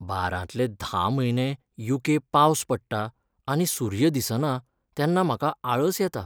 बारांतले धा म्हयने यू.के. पावस पडटा आनी सूर्य दिसना तेन्ना म्हाका आळस येता.